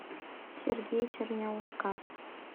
сергей черняускас